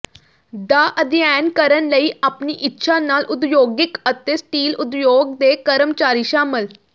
ਦਾ ਅਧਿਐਨ ਕਰਨ ਲਈ ਆਪਣੀ ਇੱਛਾ ਨਾਲ ਉਦਯੋਗਿਕ ਅਤੇ ਸਟੀਲ ਉਦਯੋਗ ਦੇ ਕਰਮਚਾਰੀ ਸ਼ਾਮਲ